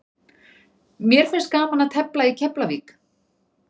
Mér finnst gaman að tefla í Keflavík.